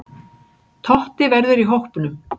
Totti verður í hópnum.